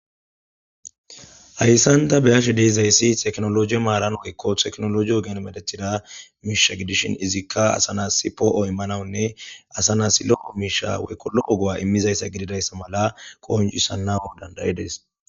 Haysan tha be7ashe d7izayssi teknolooje maaran woykko teknolooje ogiyan mereththida miishsha gidishin izikka asa naassi poo7o immanawunne asa naassi lo7o miishshaa woykko lo7o go7aa immizayssa gidizayssa mala qonccissanawu danddayides.